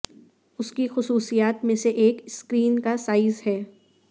اس کی خصوصیات میں سے ایک اسکرین کا سائز ہے